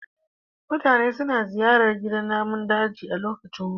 Mutane suna ziyartar gidan namun daji a lokacin hutu.